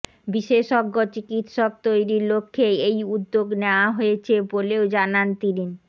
বিশেষজ্ঞ চিকিৎসক তৈরির লক্ষ্যে এই উদ্যোগ নেয়া হয়েছে বলেও জানান তিনি